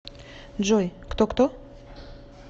джой кто кто